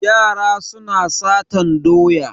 Yara suna satan doya.